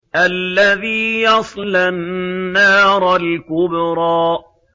الَّذِي يَصْلَى النَّارَ الْكُبْرَىٰ